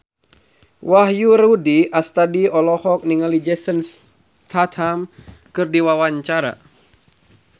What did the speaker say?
Wahyu Rudi Astadi olohok ningali Jason Statham keur diwawancara